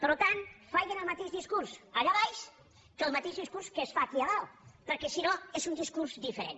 per tant facin el mateix discurs allà baix que el mateix discurs que es fa aquí a dalt perquè si no és un discurs diferent